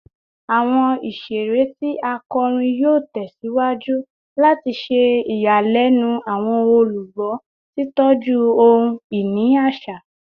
Awọn iṣere ti a kọrin yoo tẹsiwaju lati ṣe iyanilẹnu awọn olugbo, titọju ohun-ini aṣa